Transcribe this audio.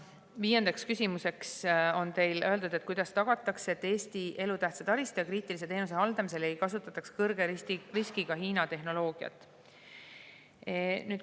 Viies küsimus on teil selline: "Kuidas tagatakse, et Eesti elutähtsa taristu ja kriitiliste teenuste haldamisel ei kasutataks kõrge riskiga Hiina tehnoloogiat?